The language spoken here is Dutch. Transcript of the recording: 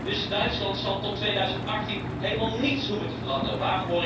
Dus Duitsland zal tot 2018 helemaal niets hoeven te veranderen.